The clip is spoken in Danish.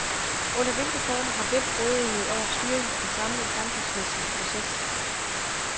Under hvilke former har hvem rådighed over styringen af den samlede samfundsmæssige proces?